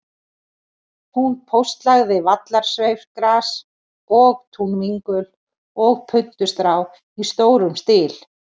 Hún póstlagði vallarsveifgras og túnvingul og puntstrá í stórum stíl.